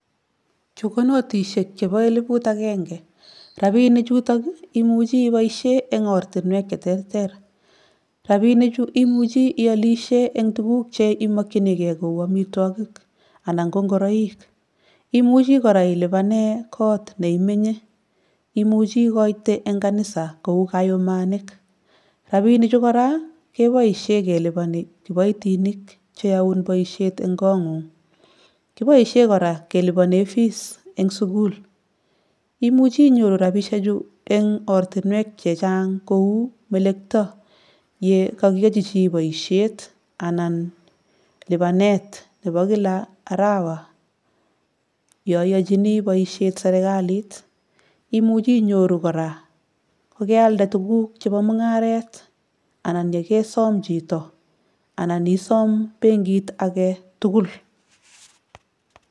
Chu ko notishek chepo eleput akenke. Rapiinichutok, imuchi iboishe eng oratinwek cheterter. Rapiinichu imuchi ialishe eng tuguk cheimokchinikei kou amitwokik anan ko ngoroik. Imuchi kora ilipane kot neiminye. Imuchi ikoite eng kanisa kou kayumanik. Rapiinichu kora, keboishe keliponi kiboitinik cheyoun boishet eng kong'ung. Kiboishe kora kelipone fees eng sukul. Imuchi inyoru rapiishechu eng ortinwek chechang kou melekto yekakiyachi chi boishet anan lipanet nepo kila arawa yoiyochini boishet serikalit. Imuchi inyoru kora kokealde tuguk chepo mung'aret anan yekesom chito anan isom benkit aketukul.